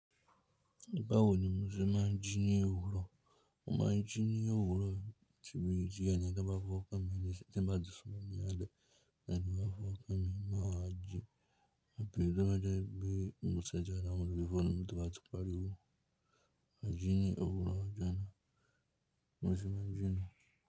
Bawo ni Muslim má ń jí ní òwúrọ̀? Wọ́n máa ń jí ní òwúrọ̀ ti béèrè tí ẹnìkan bá fọwọ́ kan mi ní síti ìgbà díẹ̀ sọ́nà ní alẹ́, tí ẹnì kan bá fọwọ́ kan mi mọ́ ajé, àbí tí wọ́n jẹ́ bí mo ṣẹ̀jẹ àwọn òbí fún mi tí wọ́n ti parí wò. A jí ní òwúrọ̀ a jẹun. Muslim má ń jí nù.